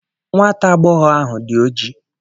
Nwata agbọghọ ahụ dị oji.